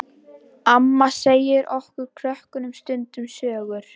Amma segir okkur krökkunum stundum sögur.